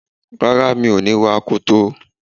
Rárá, mi ò ní wa akoto.